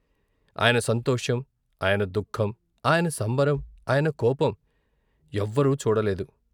ఆయన సంతోషం, ఆయన దుఃఖం, ఆయన సంబరం, ఆయన కోపం ఎవ్వరూ చూడ లేదు.